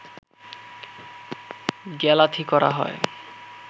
গ্যালাথি করা হয়